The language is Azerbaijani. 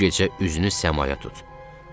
Bu gecə üzünü səmaya tut.